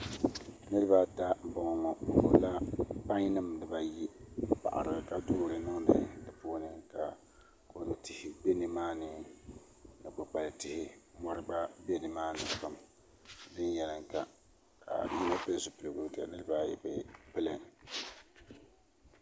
Niraba ata n boŋo bi gbubila pai nim dibayi n paɣari ka doori niŋdi di puuni ka kodu tihi bɛ nimaani ni kpukpali tihi mori gba bɛ nimaani viɛnyɛlinga ka yino pili zipiligu ka niraba ayi bi pili